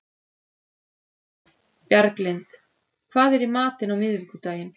Bjarglind, hvað er í matinn á miðvikudaginn?